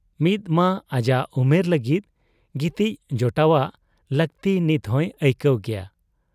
ᱢᱤᱫᱢᱟ ᱟᱡᱟᱜ ᱩᱢᱮᱨ ᱞᱟᱹᱜᱤᱫ ᱜᱤᱛᱤᱡ ᱡᱚᱴᱟᱣᱟᱜ ᱞᱟᱹᱠᱛᱤ ᱱᱤᱛᱦᱚᱸᱭ ᱟᱹᱭᱠᱟᱹᱣ ᱜᱮᱭᱟ ᱾